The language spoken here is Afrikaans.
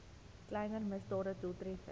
kleiner misdade doeltreffend